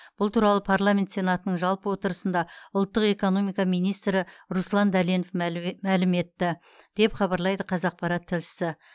бұл туралы парламент сенатының жалпы отырысында ұлттық экономика министрі руслан дәленов мәлім етті деп хабарлайды қазақпарат тілшісі